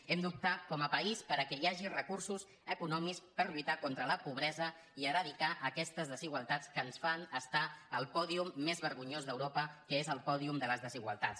hem d’optar com a país perquè hi hagi recursos econòmics per lluitar contra la pobresa i eradicar aquestes desigualtats que ens fan estar al pòdium més vergonyós d’europa que és el pòdium de les desigualtats